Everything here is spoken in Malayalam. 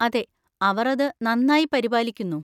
അതെ, അവർ അത് നന്നായി പരിപാലിക്കുന്നു.